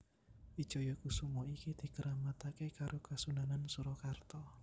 Wijaya kusuma iki dikeramatake karo Kasunanan Surakarta